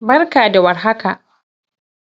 Barka da warhaka!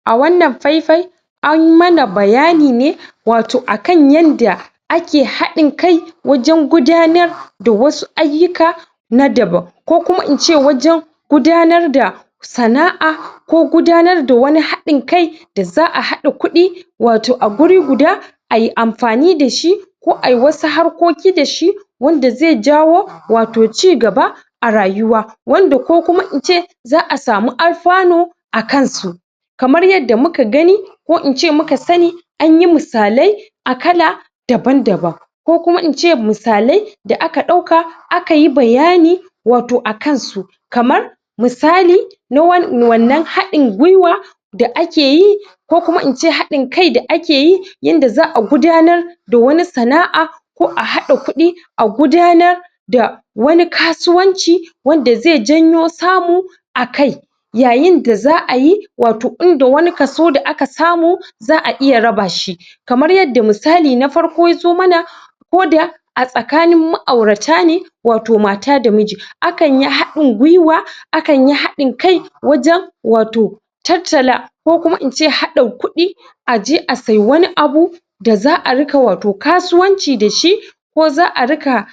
A wannan fai-fai an mana bayani ne wato akan yadda ake haɗe kai wajen gudanar wasu ayukka na daban. Ko kuma in ce wajen gudanar da sana'a, ko gudanar da wani hain kai da za'a haɗa kuɗi wato a guri guda, ayi amfani da shi, ko ayi wasu harkoki da shi, wanda zai jawo wato cigaba, a rayuwa. Wanda ko kuma in ce za'a samu alfanu a kansu. Kamar yadda muka gani ko in ce muka sani an yi musalai a kala daban-daban. Ko kuma in ce musalai da aka ɗauka aka yi bayani wato akan su. Kamar, misali na wan wannan haɗin-gwiwa da ake yi. Ko kuma in ce haɗin kai da ake yi yanda za'a gudanar da wani sana'a ko a hada kuɗi a gudanar da wani kasuwanci, wanda zai janyo samu akai. Yayin da za'a yi wato inda wani kaso da aka samu za'a iya raba shi. Kamar yadda misali na farko ya zo muna. Ko da a tsakanin ma'aurata ne wato mata da miji, akan yi haɗi-gwiwa, akan yi haɗi kai, wajen wato tattala, ko kuma in ce haɗin kuɗi aje a sayi wani abu, da za'a riƙa wato kasuwanci da shi ko za'a riƙa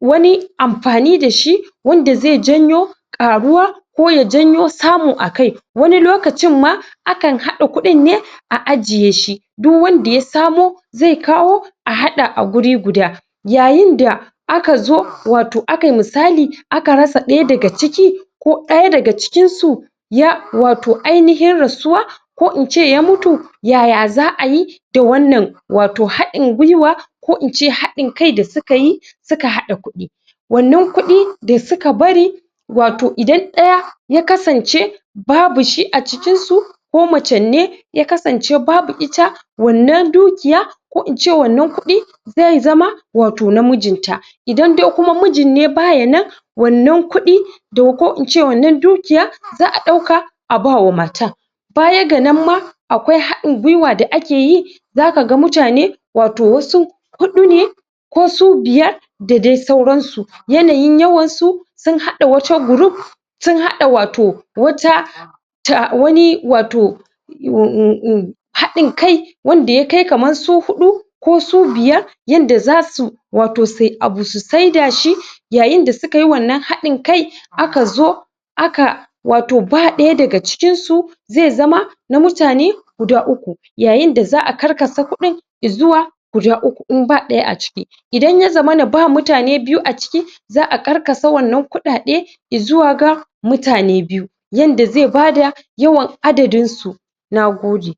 wani amfani da shi, wanda zai janyo ƙaruwa ko ya janyo samu akai. Wani lokacin ma akan haɗa kuɗin ne a ajiye shi duk wanda ya samo zai kawo a haɗa a wurin guda. Yayin da aka zo wato aka yi musali aka ras ɗaya daga ciki, ko ɗaya daga cikin su ya wato ainihin rasuwa, ko in ce ya mutu, yaya za'a yi da wannan wato haɗin-gwiwa ko in ce haɗin kai da suka yi, su ka haɗa kuɗi. Wannan kuɗi da suka bari, wato idan ɗaya ya kasance babu shi a cikin su ko maccen ne ya kasance babu ita, wannan dukiya ko in ce wannan kuɗi, zai zama wato na mijinta. Idan dai kuma mijin ne ba ya nan, wannan kuɗi do ko in ce wannan dukiya, za'a ɗauka a bawa matan. Baya ga nan ma, Akwai haɗin-gwiwa da ake yi za ka ga mutane, wato wasu huɗu ne ko su biyar da dai sauran su. Yanayin yawan su, sun haɗa wata group sun hada wato wata ta wani wato unm unm unm haɗin kai wanda ya kai kamar su huɗu ko su biyar yanda za su wato sayi abu su saida shi. Yayin da suka yi wannan haɗin kai, aka zo aka wato ba ɗaya daga cikin su zai zama na mutane guda uku, yayin da za'a karkasa kuɗin izuwa guda uku in ba ɗaya a ciki. Idan ya zamana ba mutane biyu a ciki, za'a karkasa wannan kuɗaɗe izuwa ga mutane biyu, yanda zai ba da yawan adadin su. Nagode!